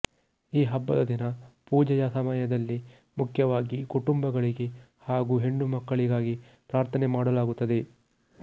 ಈ ಹಬ್ಬದ ದಿನ ಪೂಜೆಯ ಸಮಯದಲ್ಲಿ ಮುಖ್ಯವಾಗಿ ಕುಟುಂಬಗಳಿಗೆ ಹಾಗು ಹೆಣ್ಣುಮಕ್ಕಳಿಗಾಗಿ ಪ್ರಾರ್ಥನೆ ಮಾಡಲಾಗುತ್ತದೆ